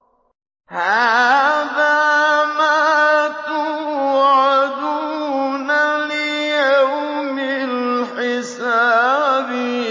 هَٰذَا مَا تُوعَدُونَ لِيَوْمِ الْحِسَابِ